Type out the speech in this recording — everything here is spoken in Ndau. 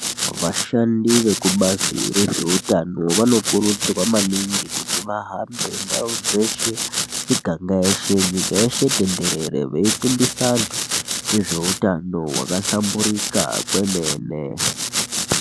Vashandi vekubazi rezveutano vanokurudzirwa maningi kuti vahambe ndau dzeshe miganga yeshe nyika yeshe tenderere veifundisa vanthu ngezveutano hwakahlamburika kwemene.